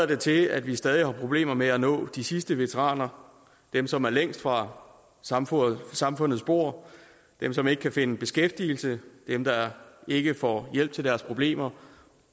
det til at vi stadig har problemer med at nå de sidste veteraner dem som er længst fra samfundets samfundets bord dem som ikke kan finde beskæftigelse dem der ikke får hjælp til deres problemer